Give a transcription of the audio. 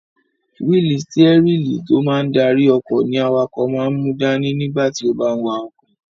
Wíìlì stírẹ́lì tó máa n darí ọkọ̀ ní awakọ̀ máa n mú dání nígbà tí ó bá n wa ọkọ̀